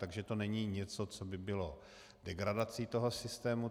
Takže to není něco, co by bylo degradací toho systému.